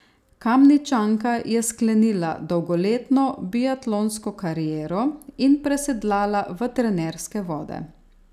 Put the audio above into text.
Kamničanka je sklenila dolgoletno biatlonsko kariero in presedlala v trenerske vode.